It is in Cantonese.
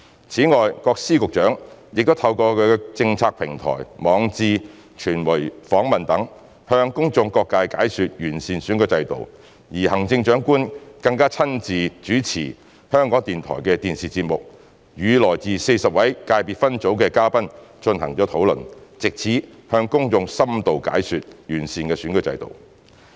此外，各司局長亦透過其政策平台、網誌、傳媒訪問等，向公眾各界解說完善的選舉制度，而行政長官更親自主持香港電台的電視節目，與來自40個界別分組的嘉賓進行討論，藉此向公眾深度解說完善選舉制度。